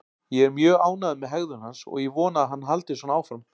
Ég er mjög ánægður með hegðun hans og ég vona að hann haldi svona áfram